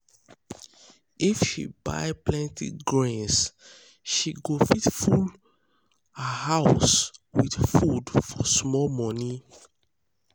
if she buy plenty grains she go fit full go fit full her house with food for small money.